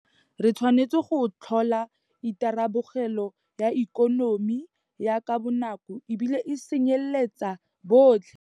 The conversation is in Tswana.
Re tshwanetse go tlhola itharabologelo ya ikonomi ya ka bonako e bile e tsenyeletsa botlhe.